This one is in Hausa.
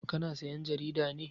Ka na sayan jarida ne?